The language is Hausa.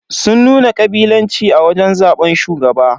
Sun nuna kabilanci a wajen zaban shugaba.